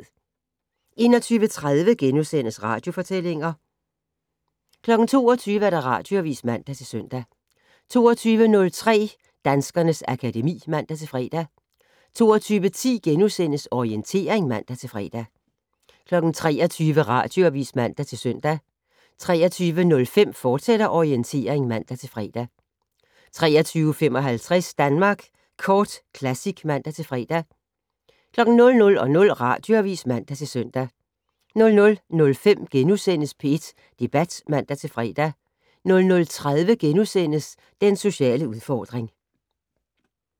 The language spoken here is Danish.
21:30: Radiofortællinger * 22:00: Radioavis (man-søn) 22:03: Danskernes akademi (man-fre) 22:10: Orientering *(man-fre) 23:00: Radioavis (man-søn) 23:05: Orientering, fortsat (man-fre) 23:55: Danmark Kort Classic (man-fre) 00:00: Radioavis (man-søn) 00:05: P1 Debat *(man-fre) 00:30: Den sociale udfordring *